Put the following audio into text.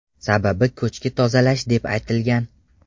Sababi ko‘chki tozalash deb aytilgan.